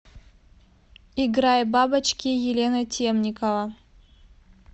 играй бабочки елена темникова